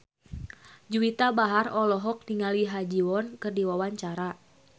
Juwita Bahar olohok ningali Ha Ji Won keur diwawancara